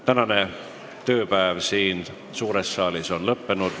Tänane tööpäev siin suures saalis on lõppenud.